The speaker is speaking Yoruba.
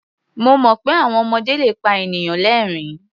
Mo mọ̀ pé àwọn ọmọdé le pa ènìyàn lẹ́rìn-ín.